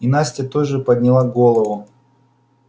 и настя тоже подняла голову